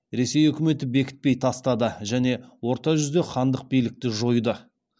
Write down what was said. ресей үкіметі бекітпей тастады және орта жүзде хандық билікті жойды